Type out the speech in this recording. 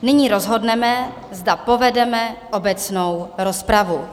Nyní rozhodneme, zda povedeme obecnou rozpravu.